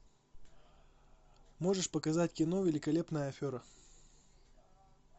можешь показать кино великолепная афера